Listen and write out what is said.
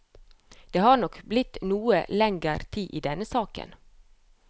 Det har blitt noe lenger tid i denne saken.